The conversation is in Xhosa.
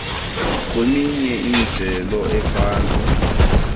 kweminye imijelo ephantsi